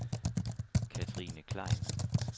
Cathrine Klein